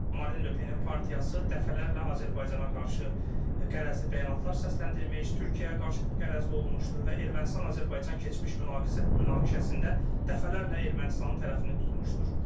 Marine Le Pen-in partiyası dəfələrlə Azərbaycana qarşı qərəzli bəyanatlar səsləndirmiş, Türkiyəyə qarşı qərəzli olmuşdur və Ermənistan-Azərbaycan keçmiş münaqişəsində dəfələrlə Ermənistanın tərəfini tutmuşdur.